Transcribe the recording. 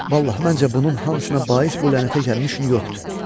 Vallah, məncə bunun hamısına bais bu lənətə gəlmiş Nyu Yorkdur.